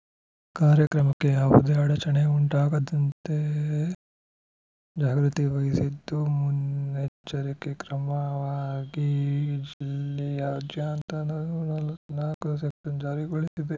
ಕಾರ್ಯಕ್ರಮಕ್ಕೆ ಯಾವುದೇ ಅಡಚಣೆ ಉಂಟಾಗದಂತೆ ಜಾಗೃತಿ ವಹಿಸಿದ್ದು ಮುನ್ನೆಚ್ಚರಿಕೆ ಕ್ರಮವಾಗಿ ಜಿಲ್ಲೆಯಾದ್ಯಂತ ನೂರ ನಲವತ್ತ್ ನಾಲ್ಕು ಸೆಕ್ಷನ್‌ ಜಾರಿಗೊಳಿಸಿದೆ